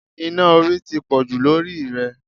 Iná orí ti pọ̀jù lórí ì rẹ̀